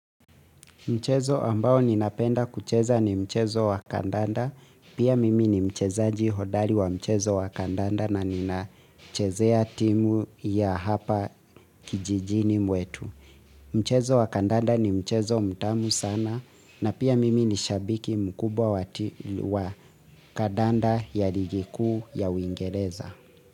Mchezo ambao ninapenda kucheza ni mchezo wa kandanda. Pia mimi ni mcheza jihodari wa mchezo wa kandanda na nina chezea timu ya hapa kijijini mwetu. Mchezo wa kandanda ni mchezo mtamu sana na pia mimi ni shabiki mkubwa wa kandanda ya ligikuu ya uingereza.